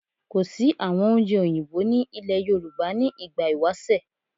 Kò sí àwọn oúnjẹ Òyìnbó ní ìlẹ̀ Yorùbá ní ìgbà ìwásẹ̀